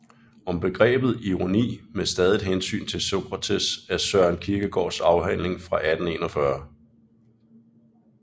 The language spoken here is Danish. Om Begrebet Ironi med stadigt Hensyn til Socrates er Søren Kierkegaards afhandling fra 1841